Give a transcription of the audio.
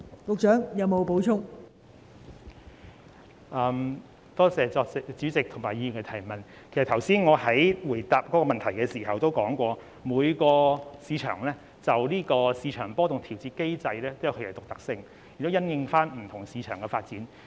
其實，我剛才在回答主體質詢時已提到，就市場波動調節機制來說，每個市場也有其獨特性，亦須因應不同市場的發展進行。